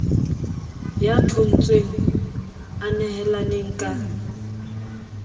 ya thontshweng a nehelaneng ka